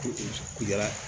Ko jara ye